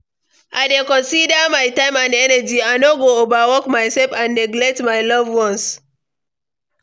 I dey consider my time and energy, i no go overwork myself and neglect my loved ones.